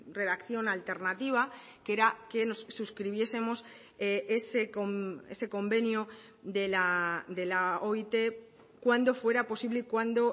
redacción alternativa que era que nos suscribiesemos ese convenio de la oit cuando fuera posible y cuando